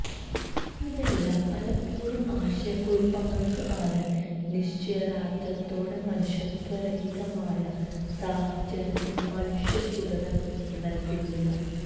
ഇതെല്ലാം പലപ്പോഴും ആശയക്കുഴപ്പങ്ങൾക്ക് ആണ് നിശ്ചയദാർഢ്യത്തോടെ മനുഷ്യത്വരഹിതമായ സാഹചര്യത്തിൽ മനുഷ്യ തുടരാൻ നൽകുന്നില്ല